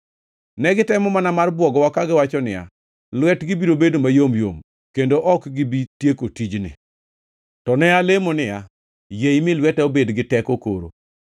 Ne gitemo mana mar bwogowa, kagiwacho niya, “Lwetgi biro bedo mayom yom, kendo ok gibi tieko tijni.” To ne alemo niya, “Yie imi lweta obed gi teko koro.”